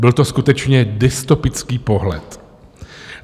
Byl to skutečně dystopický pohled.